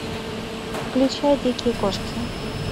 включай дикие кошки